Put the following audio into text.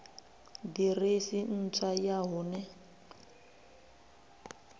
ḓiresi ntswa ya hu ne